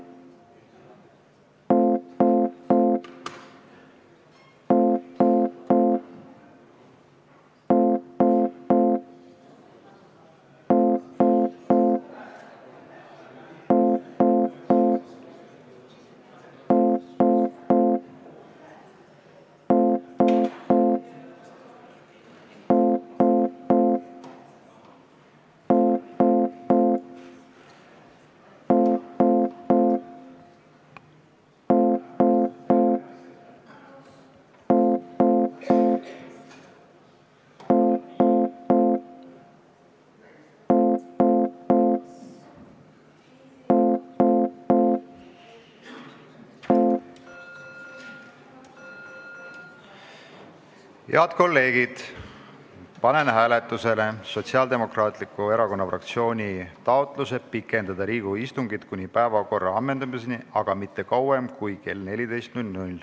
Head kolleegid, panen hääletusele SDE fraktsiooni taotluse pikendada Riigikogu istungit kuni päevakorra ammendamiseni, aga mitte kauem kui kella 14-ni.